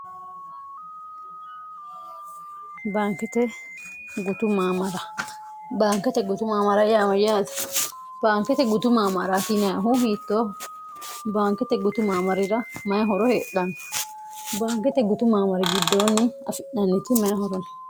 baankete gubaankete gutu maamara yaama yaati baankete gutu maamara hineahu hiittoohu baankete gutu maamarira mayihoro heedhanno baankete gutu maamari giddoonni afi'nanniti mayihorono